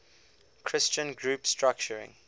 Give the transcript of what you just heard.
christian group structuring